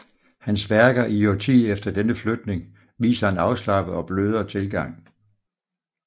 Hans værker i årtiet efter denne flytning viser en afslappet og blødere tilgang